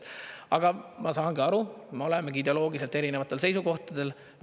Aga ma saan aru, me olemegi ideoloogiliselt erinevatel seisukohtadel.